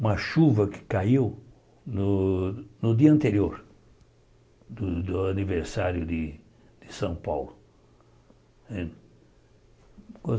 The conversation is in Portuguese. uma chuva que caiu no no dia anterior do do aniversário de São Paulo.